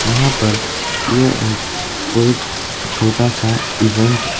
यहां पर यह एक कोई छोटा सा इवेंट --